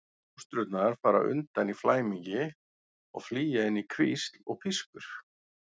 Fóstrurnar fara undan í flæmingi og flýja inn í hvísl og pískur.